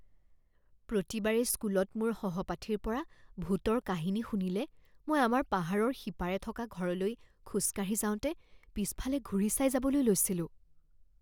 প্ৰতিবাৰেই স্কুলত মোৰ সহপাঠীৰ পৰা ভূতৰ কাহিনী শুনিলে মই আমাৰ পাহাৰৰ সিপাৰে থকা ঘৰলৈ খোজকাঢ়ি যাওঁতে পিছফালে ঘূৰি চাই যাবলৈ লৈছিলোঁ